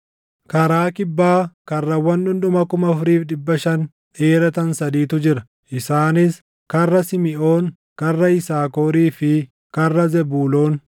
Karaa kibbaa karrawwan dhundhuma 4,500 dheeratan sadiitu jira; isaanis karra Simiʼoon, karra Yisaakorii fi karra Zebuuloon.